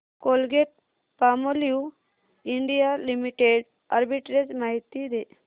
Colgate Palmolive India limited arbitrage माहिती दे